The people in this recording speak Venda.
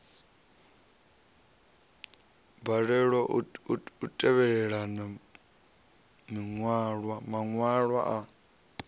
balelwa u tevhelela maṅwalwa a